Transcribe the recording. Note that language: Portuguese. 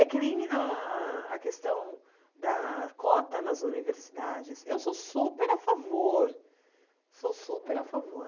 É que nem a a questão da cota nas universidades, eu sou super a favor, sou super a favor.